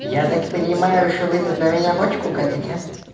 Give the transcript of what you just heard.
я так понимаю что вы тут на меня бочку катите